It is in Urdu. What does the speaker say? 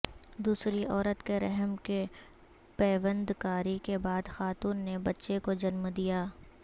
دوسری عورت کے رحم کی پیوند کاری کے بعد خاتون نے بچہ کو جنم دیا